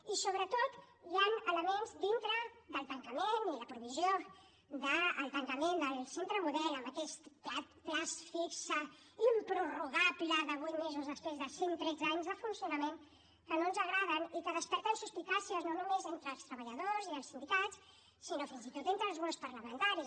i sobretot hi han elements dintre del tancament i la provisió del tancament del centre model en aquest termini fixe improrrogable de vuit mesos després de cent tretze anys de funcionament que no ens agraden i que desperten suspicàcies no només entre els treballadors i els sindicats sinó fins i tot entre els grups parlamentaris